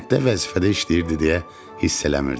Kənddə vəzifədə işləyirdi deyə hiss eləmirdik.